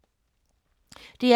DR P3